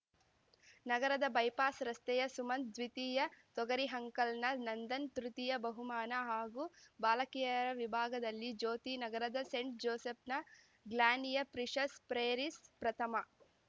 ನಗರದ ಬೈಪಾಸ್‌ ರಸ್ತೆಯ ಸುಮಂತ್‌ ದ್ವಿತೀಯ ತೊಗರಿಹಂಕಲ್‌ನ ನಂದನ್‌ ತೃತೀಯ ಬಹುಮಾನ ಹಾಗೂ ಬಾಲಕಿಯರ ವಿಭಾಗದಲ್ಲಿ ಜ್ಯೋತಿನಗರದ ಸೆಂಟ್‌ ಜೋಸೆಫ್‌ನ ಗ್ಲಾನಿಯ ಪ್ರಿಶಸ್ ಪ್ರೇರಿಸ್‌ ಪ್ರಥಮ